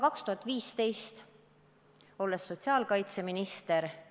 2015 olin ma sotsiaalkaitseminister.